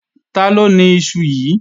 Taló ni iṣu yíì?